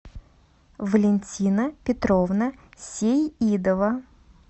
валентина петровна сеидова